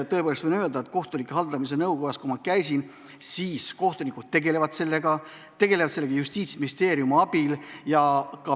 Tõepoolest, võin öelda, et käisin kohtute haldamise nõukojas, ja kohtunikud tegelevad sellega Justiitsministeeriumi abil.